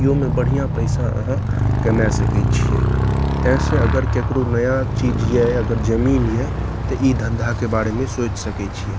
इहो में बढ़िया पैसा अहां कमाए सकय छीये ते अगर केकरो नया चीज ये जमीन ये ते इ धंधा के बारे मे सोच सकय छीये।